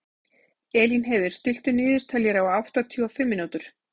Elínheiður, stilltu niðurteljara á áttatíu og fimm mínútur.